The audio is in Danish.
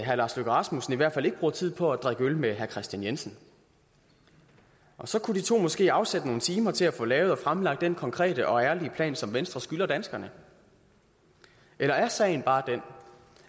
herre lars løkke rasmussen i hvert fald ikke bruger tid på at drikke øl med herre kristian jensen og så kunne de to måske afsætte nogle timer til at få lavet og fremlagt den konkrete og ærlige plan som venstre skylder danskerne eller er sagen bare den